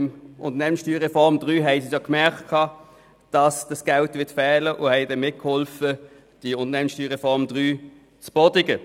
Bei der Unternehmenssteuerreform (USR) III merkten sie, dass dieses Geld fehlen wird, und halfen mit, diese zu verhindern.